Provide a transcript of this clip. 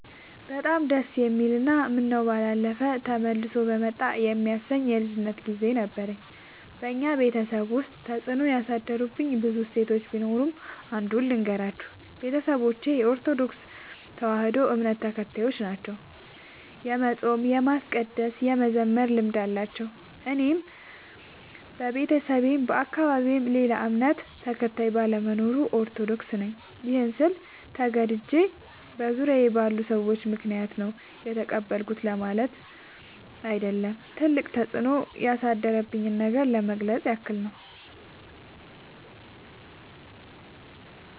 በጣም ደስ የሚል እና ምነው ባላለፈ ተመልሶ በመጣ የሚያሰኝ የልጅነት ግዜ ነበረኝ። በኛ ቤተሰብ ውስጥ ተፅዕኖ ያሳደሩብኝ ብዙ እሴቶች ቢኖሩም። አንዱን ልገራችሁ፦ ቤተሰቦቼ የኦርቶዶክስ ተዋህዶ እምነት ተከታዮች ናቸው። የመፃም የማስቀደስ የመዘመር ልምድ አላቸው። እኔም በቤተሰቤም በአካባቢዬም ሌላ እምነት ተከታይ ባለመኖሩ። ኦርቶዶክስ ነኝ ይህን ስል ተገድጄ በዙሪያዬ ባሉ ሰዎች ምክንያት ነው የተቀበልኩት ለማለት አይደለም ትልቅ ተፅኖ ያሳደረብኝን ነገር ለመግለፅ ያክል ነው።